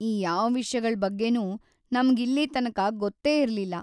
ಈ ಯಾವ್ ವಿಷ್ಯಗಳ್ ಬಗ್ಗೆನೂ ನಮ್ಗ್ ಇಲ್ಲೀತನಕ ಗೊತ್ತೇ ಇರ್ಲಿಲ್ಲ.